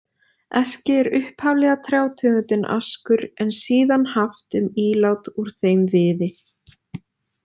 Eski er upphaflega trjátegundin askur, en síðan haft um ílát úr þeim viði.